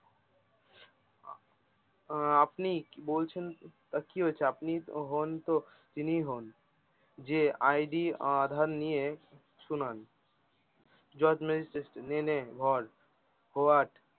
আহ আপনি কি বলছেন তো কি হয়েছে আপনি হন তো তিনি হন যে আইডি আধার নিয়ে শুনান what